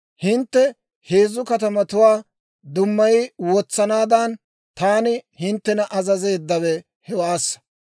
Hintte heezzu katamatuwaa dummayi wotsanaadan, taani hinttena azazeeddawe hewaassa.